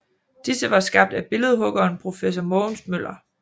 Disse var skabt af billedhuggeren professor Mogens Møller